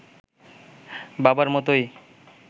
বাবার মতোই